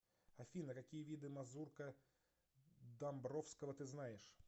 афина какие виды мазурка домбровского ты знаешь